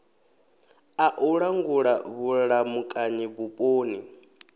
a u langula vhulamukanyi vhuponi